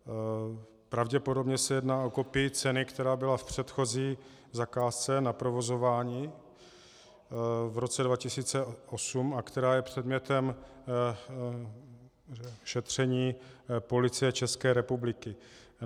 Pravděpodobně se jedná o kopii ceny, která byla v předchozí zakázce na provozování v roce 2008 a která je předmětem šetření Policie České republiky.